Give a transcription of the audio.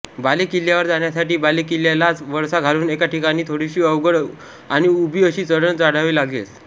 बालेकिल्ल्यावर जाण्यासाठी बालेकिल्ल्यालाच वळसा घालून एका ठिकाणी थोडीशी अवघड आणि उभी चढण चढावी लागते